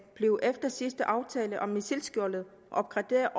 blev efter sidste aftale om missilskjoldet opgraderet